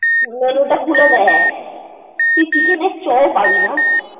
menu টা খুলে দেখ। তুই chicken এর চও পাবানি।